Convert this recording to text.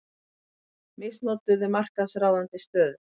Misnotuðu markaðsráðandi stöðu